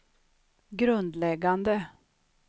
grundläggande